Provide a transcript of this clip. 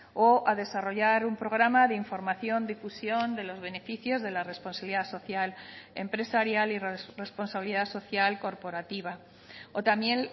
o a desarrollar un programa de información difusión de los beneficios de la responsabilidad social empresarial y responsabilidad social corporativa o también